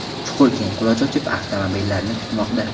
Chuqur keng quloch ochib, avtomobillarni kutmoqda.